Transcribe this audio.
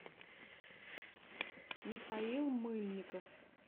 михаил мыльников